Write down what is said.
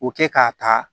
O kɛ k'a ta